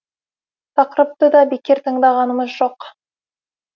тақырыпты да бекер таңдағанымыз жоқ